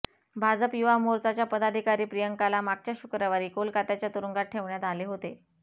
भाजप युवा मोर्चाच्या पदाधिकारी प्रियंकाला मागच्या शुक्रवारी कोलकात्याच्या तुरुंगात ठेवण्यात आले होते